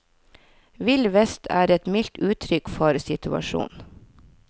Vill vest er et mildt uttrykk for situasjonen.